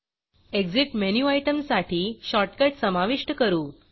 Exitएग्ज़िट menu आयटमसाठी shortcut समाविष्ट करू